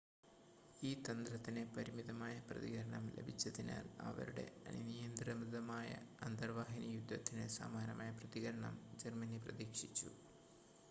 ഈ തന്ത്രത്തിന് പരിമിതമായ പ്രതികരണം ലഭിച്ചതിനാൽ അവരുടെ അനിയന്ത്രിതമായ അന്തർവാഹിനി യുദ്ധത്തിന് സമാനമായ പ്രതികരണം ജർമ്മനി പ്രതീക്ഷിച്ചു